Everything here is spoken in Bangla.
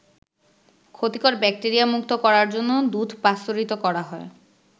ক্ষতিকর ব্যাকটেরিয়ামুক্ত করার জন্য দুধ পাস্তুরিত করা হয়।